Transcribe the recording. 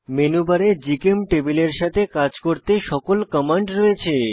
মেনুবারে জিচেমটেবল এর সাথে কাজ করতে সকল কমান্ড রয়েছে